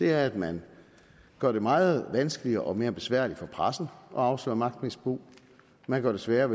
er at man gør det meget vanskeligere og mere besværligt for pressen at afsløre magtmisbrug man gør det sværere